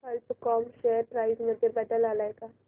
कल्प com share price मध्ये बदल आलाय का